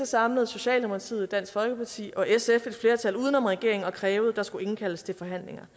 samlede socialdemokratiet dansk folkeparti og sf et flertal uden om regeringen og krævede at der skulle indkaldes til forhandlinger